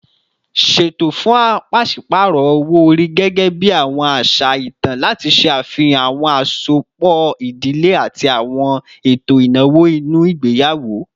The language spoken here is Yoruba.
Ṣeto fun paṣipaarọ owo-ori, gẹgẹbi awọn aṣa itan, lati ṣe afihan awọn asopọ idile ati awọn eto inawo ninu igbeyawo